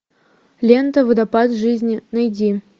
лента водопад жизни найди